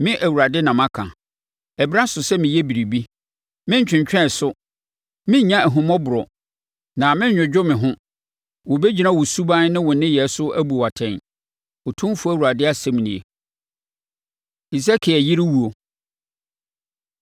“ ‘Me Awurade na maka. Ɛberɛ aso sɛ meyɛ biribi. Merentwentwɛn so; merennya ahummɔborɔ, na merenwogo me ho. Wɔbɛgyina wo suban ne wo nneyɛɛ so abu wo atɛn, Otumfoɔ Awurade asɛm nie.’ ” Hesekiel Yere Owuo